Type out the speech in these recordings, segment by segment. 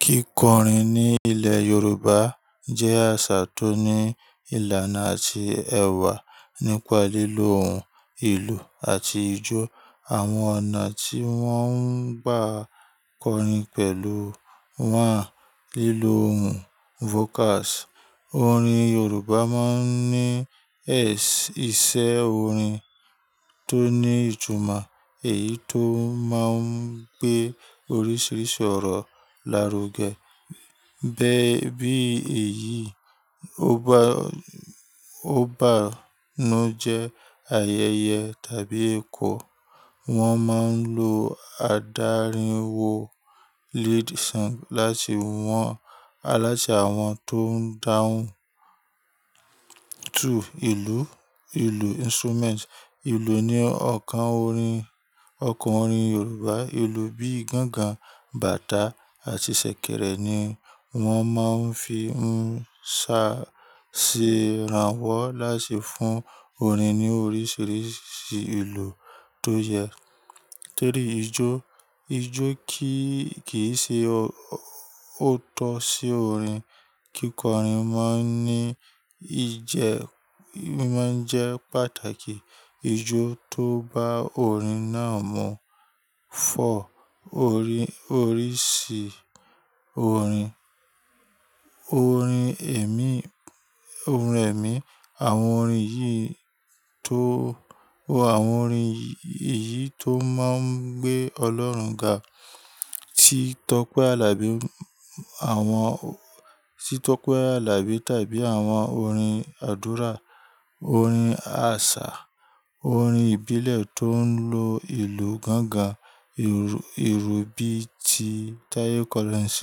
Kíkọrin ní ilẹ̀ Yorùbá jẹ́ àṣà tó ní ìlànà àti ẹ̀wà nípa lílo ohùn, ìlù àti ijó. Àwọn ọ̀nà tí wọ́n ń gbà kọrin pẹ̀lú wá lílo ohùn vocals. Orin Yorùbá máa ń ní ẹsẹ isẹ́ orin tó ní ìtumọ̀ èyí tó máa ń gbé oríṣiríṣi ọ̀rọ̀ lárugẹ. Bẹ́ bí èyí ó bá ńu jẹ́ ayẹyẹ tàbí ẹ̀kọ́, wọ́n máa ń lo adárìnwo lead song láti wọn á láti àwọn tó ń dáhùn. Two, ìlù, ìlù instrument. Ìlù ni ọ̀kan orin ọkàn orin Yorùbá. Ìlù bíi gángan, bàtà àti ṣẹ̀kẹ̀rẹ̀ ni wọ́n máa ń fi ń ṣàṣe ìrànwọ́ láti fún orin ní oríṣiríṣi ìlù tó yẹ. Three, ijó. Ijó kì í ṣe òótọ́ sí orin. Kíkọrin máa ń jẹ́ pàtàkì. Ijó tó bá orin náà mú. Four, oríṣì orin. Orin ẹ̀mí, àwọn orin yìí tó máa ń gbé Ọlọ́run ga, tí tọ́pẹ́ àbí tàbí àwọn orin àdúrà. Orin àṣà, orin ìbílẹ̀ tó ń lo ìlù gángan, ìru bíti Tayo Collins.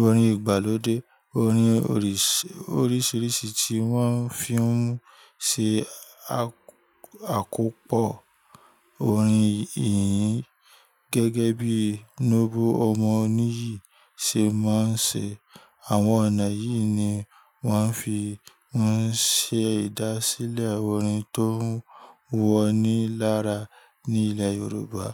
Orin ìgbàlódé, oríṣiríṣi tí wọ́n fi ń ṣe àkópọ̀ orin yìí gẹ́gẹ́ bíi Nóble ọmọ oníyì ṣe máa ń ṣe. Àwọn ọ̀nà yìí ni wọ́n fi ń ṣe ìdásílẹ̀ orin tó wọ́n ní lára ní ilẹ̀ Yorùbá.